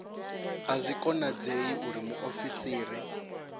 a zwi konadzei uri muofisiri